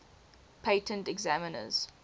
patent examiners